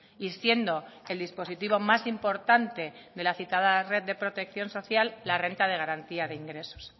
y siendo el dispositivo más importante de la citada red de protección social la renta de garantía de ingresos